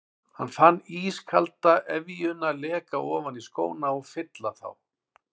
Hann fann ískalda efjuna leka ofan í skóna og fylla þá.